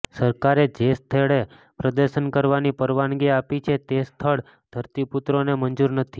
સરકારે જે સ્થળે પ્રદર્શન કરવાની પરવાનગી આપી છે તે સ્થળ ધરતીપુત્રોને મંજૂર નથી